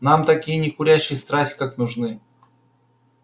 нам такие некурящие страсть как нужны